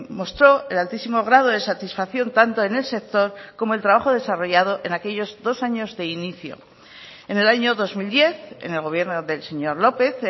mostró el altísimo grado de satisfacción tanto en el sector como el trabajo desarrollado en aquellos dos años de inicio en el año dos mil diez en el gobierno del señor lópez